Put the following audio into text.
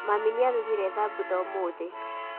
Mami nĩarugire thambutha ũmũthĩ